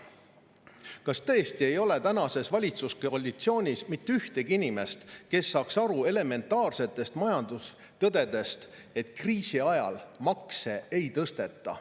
Kas tõesti ei ole tänases valitsuskoalitsioonis mitte ühtegi inimest, kes saaks aru elementaarsetest majandustõdedest ja sellest, et kriisi ajal makse ei tõsteta?